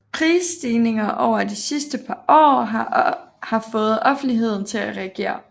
Prisstigninger over de sidste par år har fået offentligheden til at reagere